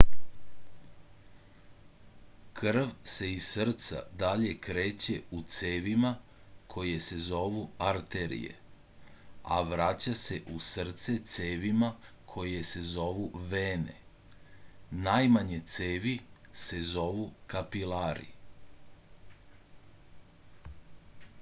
krv se iz srca dalje kreće u cevima koje se zovu arterije a vraća se u srce cevima koje se zovu vene najmanje cevi se zovu kapilari